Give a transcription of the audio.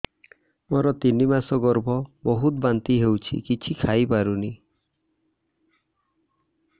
ମୋର ତିନି ମାସ ଗର୍ଭ ବହୁତ ବାନ୍ତି ହେଉଛି କିଛି ଖାଇ ପାରୁନି